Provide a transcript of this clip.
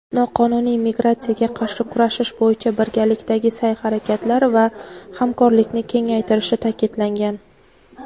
noqonuniy migratsiyaga qarshi kurashish bo‘yicha birgalikdagi sa’y-harakatlar va hamkorlikni kengaytirishi ta’kidlangan.